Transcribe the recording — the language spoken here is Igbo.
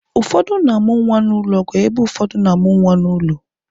Ụfọdụ na-amụ nwa n'ụlọ ọgwụ ebe ụfọdụ na-amụ nwa n'ụlọ